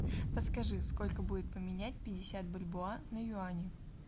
подскажи сколько будет поменять пятьдесят бальбоа на юани